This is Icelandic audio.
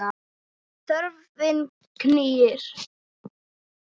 Þörfin knýr.